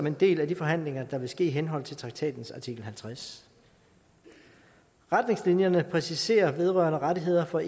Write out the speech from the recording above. en del af de forhandlinger der vil ske i henhold til traktatens artikel halvtreds retningslinjerne præciserer vedrørende rettigheder for